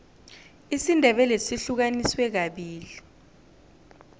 isindebele sihlukaniswe kabili